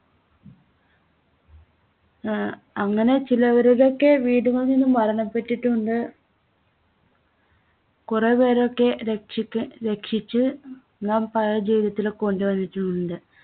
ആഹ് അങ്ങനെ ചിലരുടെയൊക്കെ വീടുകളിൽ മരണപെട്ടിട്ടും ഉണ്ട്. കുറേപേരെയൊക്കെ രക്ഷിക്ക് രക്ഷിച്ച് നാം പഴയ ജീവിതത്തിൽ കൊണ്ടുവന്നിട്ടുമുണ്ട്.